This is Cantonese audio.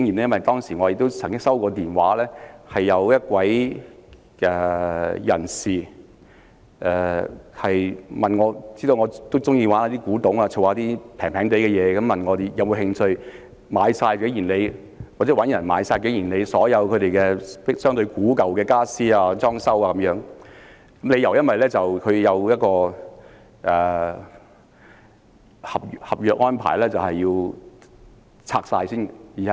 因為當時有一位知道我喜歡古董及收藏便宜東西的人打電話給我，問我或我所認識的人會否有興趣購買景賢里所有相對古舊的傢俬及裝置等，因為根據合約安排該處需要清拆。